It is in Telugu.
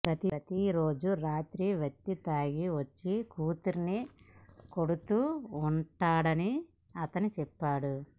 ప్రతి రోజు రాత్రి వ్యక్తి తాగి వచ్చి కూతురిని కొడుతూ ఉన్నాడని అతను చెప్పాడు